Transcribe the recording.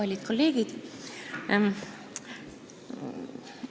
Kallid kolleegid!